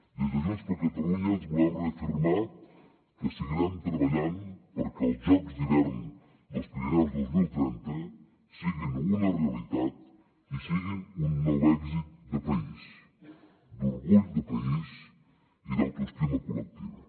des de junts per catalunya volem reafirmar que seguirem treballant perquè els jocs d’hivern dels pirineus dos mil trenta siguin una realitat i siguin un nou èxit de país d’orgull de país i d’autoestima col·lectiva